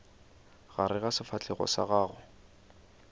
gare ga sefahlego sa gago